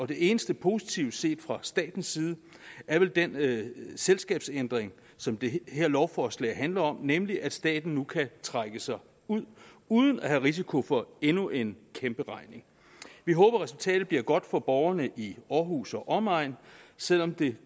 det eneste positive set fra statens side er vel den selskabsændring som det her lovforslag handler om nemlig at staten nu kan trække sig ud uden at have risiko for endnu en kæmperegning vi håber at resultatet bliver godt for borgerne i aarhus og omegn selv om det